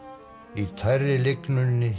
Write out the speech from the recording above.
í tærri